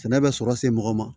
Sɛnɛ bɛ sɔrɔ se mɔgɔ ma